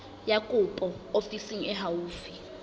ya kopo ofising e haufi